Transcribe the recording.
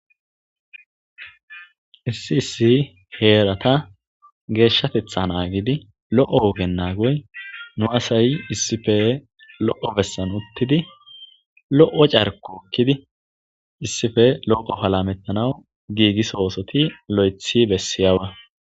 issi issi heerata geeshshatetha naagidi lo7o wogen naagoy nu asay issife lo7o bessan uttidi lo7o carko okkidi issife loqo palamettanaw giigisowosoti lo7ethi bessiyawa